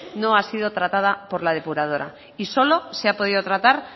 no ha sido tratado por la depuradora y solo se ha podido tratar